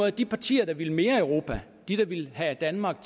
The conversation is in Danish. at de partier der vil mere europa de der vil have danmark